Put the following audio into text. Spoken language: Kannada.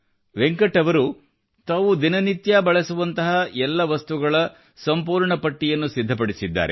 ವೆಂಕಟ್ ಅವರು ತಾವು ದಿನ ನಿತ್ಯ ಬಳಸುವಂಥ ಎಲ್ಲ ವಸ್ತುಗಳ ಸಂಪೂರ್ಣ ಪಟ್ಟಿಯನ್ನು ಸಿದ್ಧಪಡಿಸಿದ್ದಾರೆ